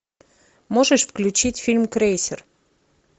можешь включить фильм крейсер